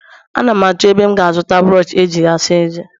Ana m achọ ebe m ga-azụta brọsh eji asa eze